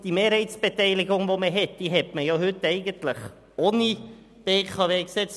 Die heutige Mehrheitsbeteiligung besteht ja ohne BKW-Gesetz.